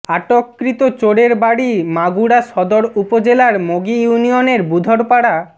আটককৃত চোরের বাড়ি মাগুরা সদর উপজেলার মগী ইউনিয়নের বুধরপাড়া